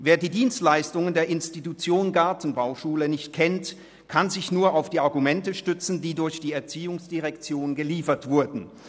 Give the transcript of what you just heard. Wer die Dienstleistungen der Institution Gartenbauschule nicht kennt, kann sich nur auf die Argumente stützen, die durch von der ERZ geliefert wurden.